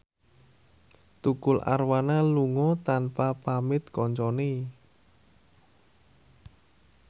Tukul Arwana lunga tanpa pamit kancane